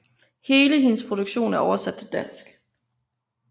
Hele hendes produktion er oversat til dansk